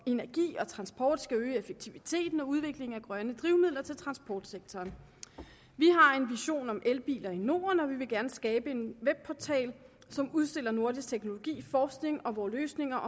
energi og transport skal øge effektiviteten og udviklingen af grønne drivmidler til transportsektoren vi har en vision om elbiler i norden og vi vil gerne skabe en webportal som udstiller nordisk teknologi forskning og vore løsninger